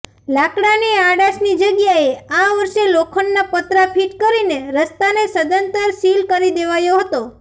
લાકડાની આડાશની જગ્યાએ આ વર્ષે લોખંડના પતરા ફિટ કરીને રસ્તાને સદંતર સીલ કરી દેવાયો હતો